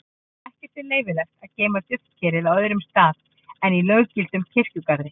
ekki er leyfilegt að geyma duftkerið á öðrum stað en í löggiltum kirkjugarði